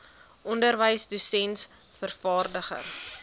onderwyser dosent vervaardiger